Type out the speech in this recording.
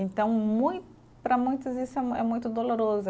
Então mui, para muitos, isso é é muito doloroso.